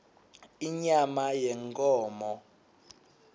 inyama yenkhomo